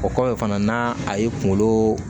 O kɔfɛ fana n'a a y'i kunkolo